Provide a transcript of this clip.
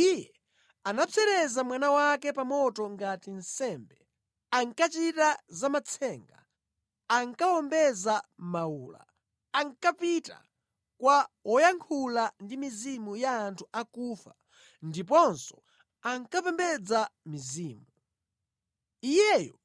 Iye anapsereza mwana wake pa moto ngati nsembe, ankachita za matsenga, ankawombeza mawula, ankapita kwa woyankhula ndi mizimu ya anthu akufa ndiponso ankapembedza mizimu. Iyeyo